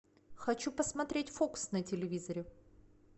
хочу посмотреть фокс на телевизоре